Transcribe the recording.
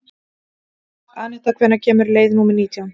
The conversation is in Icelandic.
Anetta, hvenær kemur leið númer nítján?